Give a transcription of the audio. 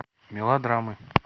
мелодрамы